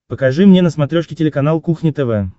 покажи мне на смотрешке телеканал кухня тв